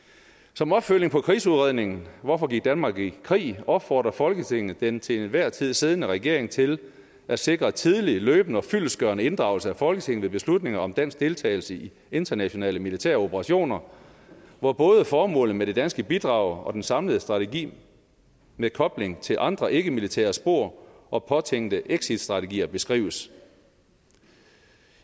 som opfølgning på krigsudredningen hvorfor gik danmark i krig opfordrer folketinget den til enhver tid siddende regering til at sikre tidlig løbende og fyldestgørende inddragelse af folketinget ved beslutninger om dansk deltagelse i internationale militære operationer hvor både formålet med det danske bidrag den samlede strategi med kobling til andre ikkemilitære spor og påtænkte exitstrategier beskrives